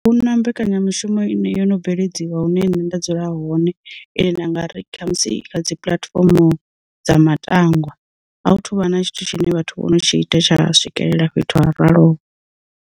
A huna mbekanyamishumo ine yo no bveledziwa hune nṋe nda dzula hone, ine nda nga ri khamusi kha dzi puḽatifomo dza matangwa a hu thuvha na tshithu tshine vhathu vho no tshi ita tsha swikelela fhethu ha ralo.